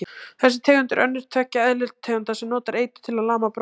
þessi tegund er önnur tveggja eðlutegunda sem notar eitur til að lama bráðir